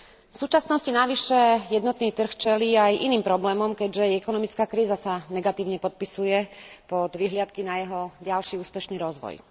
V súčasnosti navyše jednotný trh čelí aj iným problémom, keďže ekonomická kríza sa negatívne podpisuje pod vyhliadky na jeho ďalší úspešný rozvoj.